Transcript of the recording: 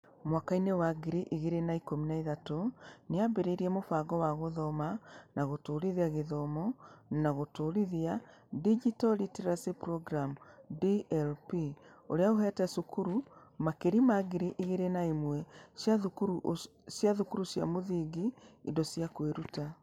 Mwakainĩ wa ngiri igĩrĩ na ikũmi na ithatũ, nĩ yaambĩrĩirie Mũbango wa Gũthoma na Gũtũũrithia Gũthoma na Gũtũũrithia (Digital Literacy Programme - DLP), ũrĩa ũheete cukuru makĩria ma ngiri igĩrĩ na ĩmwe cia thukuru cia mũthingi indo cia kwĩruta.